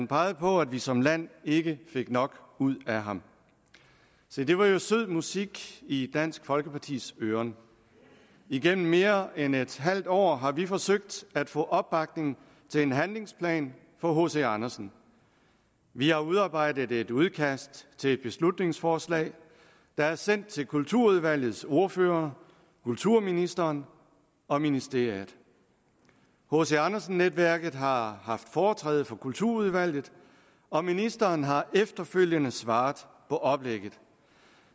pegede på at vi som land ikke fik nok ud af ham se det var jo sød musik i dansk folkepartis ører igennem mere end et halvt år har vi forsøgt at få opbakning til en handlingsplan for hc andersen vi har udarbejdet et udkast til et beslutningsforslag der er sendt til kulturudvalgets ordførere kulturministeren og ministeriet hc andersen netværket har haft foretræde for kulturudvalget og ministeren har efterfølgende svaret på oplægget